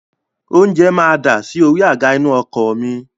Oúnjẹ máa dasi orí àga inú ọkọ̀ mi